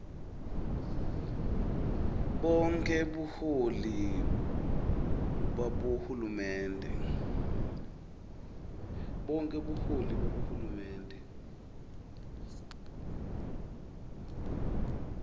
bonkhe buholi babohulumende